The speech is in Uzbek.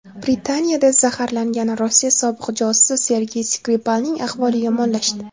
Britaniyada zaharlangan Rossiya sobiq josusi Sergey Skripalning ahvoli yomonlashdi.